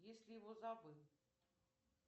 если его забыл